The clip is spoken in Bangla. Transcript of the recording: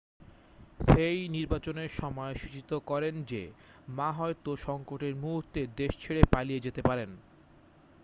শেই নির্বাচনের সময় সূচিত করেন যে মা হয়তো সংকট-এর মুহূর্তে দেশ ছেড়ে পালিয়ে যেতে পারেন